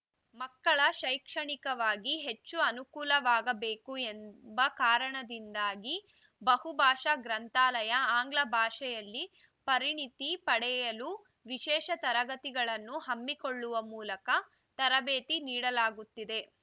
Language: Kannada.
ಮಕ್ಕಳ ಶೈಕ್ಷಣಿಕವಾಗಿ ಹೆಚ್ಚು ಅನುಕೂಲವಾಗಬೇಕು ಎಂಬ ಕಾರಣದಿಂದಾಗಿ ಬಹುಭಾಷಾ ಗ್ರಂಥಾಲಯ ಆಂಗ್ಲ ಭಾಷೆಯಲ್ಲಿ ಪರಿಣಿತಿ ಪಡೆಯಲು ವಿಶೇಷ ತರಗತಿಗಳನ್ನು ಹಮ್ಮಿಕೊಳ್ಳುವ ಮೂಲಕ ತರಬೇತಿ ನೀಡಲಾಗುತ್ತಿದೆ